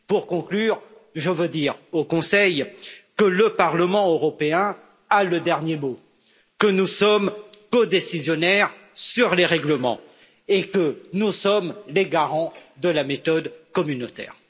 Pour conclure, je veux dire au Conseil que le Parlement européen a le dernier mot, que nous sommes codécisionnaires sur les règlements et que nous sommes les garants de la méthode communautaire.